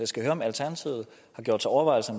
skal høre om alternativet har gjort sig overvejelser